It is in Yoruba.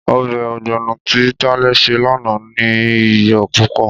Ọbẹ̀ ọ̀gbọ̀nọ̀ tí Tálẹ́ ṣe lánàá ní iyò púpò.